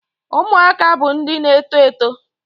Ụmụaka bụ ndị na-eto eto.